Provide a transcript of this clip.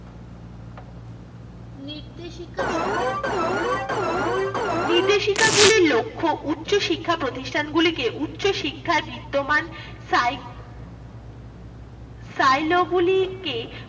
নির্দেশিকা সম্পর্কে, নির্দেশিকাগুলি লক্ষ্য উচ্চ শিক্ষা প্রতিষ্ঠানগুলিকে উচ্চশিক্ষা বিদ্যমান